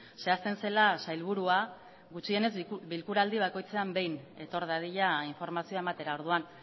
zehazten zela sailburua gutxienez bilkuraldi bakoitzean behin etor dadila informazioa ematera orduan